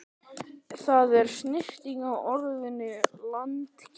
Það er stytting á orðinu latínukennari.